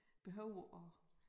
Behøver at